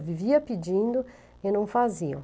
Eu vivia pedindo e não faziam.